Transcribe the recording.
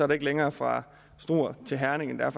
der ikke længere fra struer til herning end der